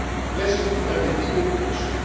Let us look at the bigger